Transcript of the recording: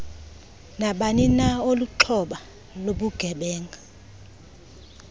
nabanina olixhoba lobugebenga